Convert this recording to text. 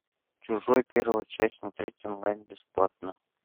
чужой первая часть смотреть онлайн бесплатно